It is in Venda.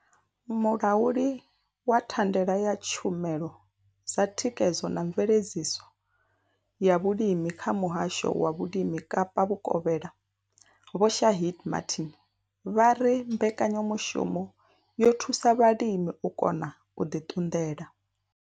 Mulauli wa thandela ya tshumelo dza thikhedzo na mveledziso ya vhulimi kha muhasho wa vhulimi Kapa vhukovhela Vho Shaheed Martin vha ri mbekanyamushumo yo thusa vhalimi u kona u ḓi ṱunḓela.